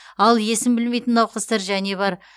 ал есін білмейтін науқастар және бар